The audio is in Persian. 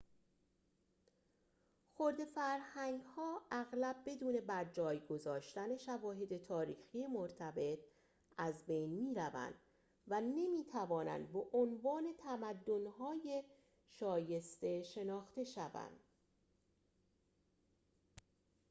خرده فرهنگ‌ها اغلب بدون برجای گذاشتن شواهد تاریخی مرتبط از بین می‌روند و نمی‌توانند به‌عنوان تمدن‌های شایسته شناخته شوند